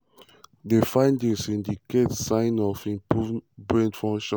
di findings indicate signs of improved brain function.